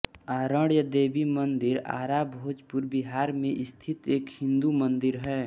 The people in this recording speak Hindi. आरण्य देवी मंदिर आरा भोजपुर बिहार में स्थित एक हिन्दू मंदिर है